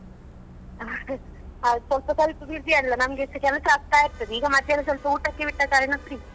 ಹೌದು ಸ್ವಲ್ಪ ಸ್ವಲ್ಪ busy ಅಲ್ಲಾ ನಮ್ಗೆಸ ಕೆಲ್ಸ ಆಗ್ತಾ ಇರ್ತದೆ ಈಗ ಮಧ್ಯಾಹ್ನ ಸ್ವಲ್ಪ ಊಟಕ್ಕೆ ಬಿಟ್ಟ ಕಾರಣ free .